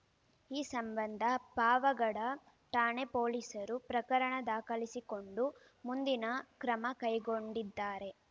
ಈ ಸಂಬಂಧ ಪಾವಗಡ ಠಾಣೆ ಪೊಲೀಸರು ಪ್ರಕರಣ ದಾಖಲಿಸಿಕೊಂಡು ಮುಂದಿನ ಕ್ರಮ ಕೈಗೊಂಡಿದ್ದಾರೆ